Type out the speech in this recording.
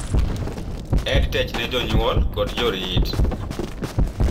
EdTech ne jpnyuol kod jorit